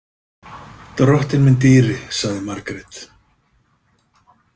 Drottinn minn dýri, sagði Margrét.